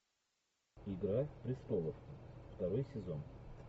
игра престолов второй сезон